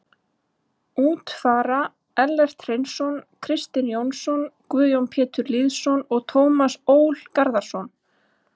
Út fara Ellert Hreinsson, Kristinn Jónsson, Guðjón Pétur Lýðsson og Tómas Ól Garðarsson.